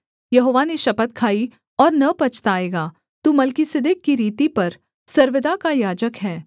यहोवा ने शपथ खाई और न पछताएगा तू मलिकिसिदक की रीति पर सर्वदा का याजक है